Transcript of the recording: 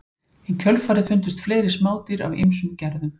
Í kjölfarið fundust fleiri smádýr af ýmsum tegundum.